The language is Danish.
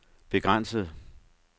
begrænset